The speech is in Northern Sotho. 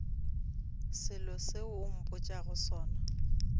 selo seo o mpotšago sona